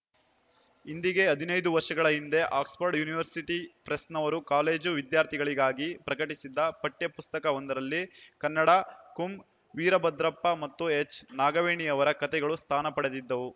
ಇಂದಿಗೆ ಹದಿನೈದು ವರ್ಷಗಳ ಹಿಂದೆ ಆಕ್ಸ್‌ಫರ್ಡ್‌ ಯೂನಿವರ್ಸಿಟಿ ಪ್ರೆಸ್‌ನವರು ಕಾಲೇಜು ವಿದ್ಯಾರ್ಥಿಗಳಿಗಾಗಿ ಪ್ರಕಟಿಸಿದ್ದ ಪಠ್ಯಪುಸ್ತಕ ಒಂದರಲ್ಲಿ ಕನ್ನಡ ಕುಂವೀರಭದ್ರಪ್ಪ ಮತ್ತು ಎಚ್‌ನಾಗವೇಣಿಯವರ ಕಥೆಗಳು ಸ್ಥಾನ ಪಡೆದಿದ್ದವು